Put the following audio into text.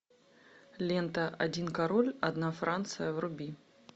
лента один король одна франция вруби